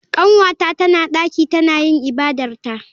Kanwata tana daki tana yin ibadarta.